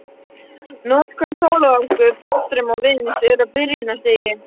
Notkun sólarorku, fallstrauma og vinds er á byrjunarstigi.